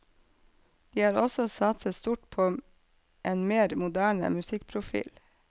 De har også satset stort på en mer moderne musikkprofil.